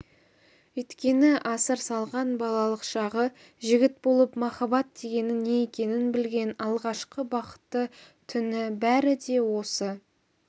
өйткені асыр салған балалық шағы жігіт болып махаббат дегеннің не екенін білген алғашқы бақытты түні бәрі де осы